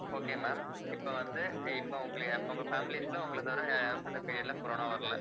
okay ma'am இப்ப வந்து இப்ப உங்களைய உங்க families ல உங்களைத் தவிர வேற யாருக்கும் இந்த period ல corona வரல